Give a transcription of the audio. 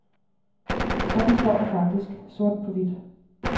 Sådan står der faktisk, sort på hvidt.